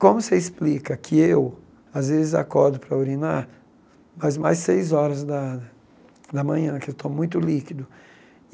Como você explica que eu, às vezes, acordo para urinar, mas mais seis horas da da manhã, porque eu tomo muito líquido.